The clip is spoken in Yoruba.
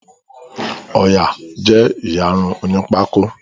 Ọya jé iyàrun òní Pákó.